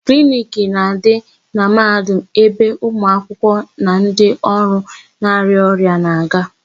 Kliniki na-adị na Mahadum ebe ụmụakwụkwọ na ndị ọrụ na-arịa ọrịa na-aga.